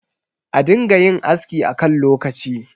a dinga yin aski a kan lokaci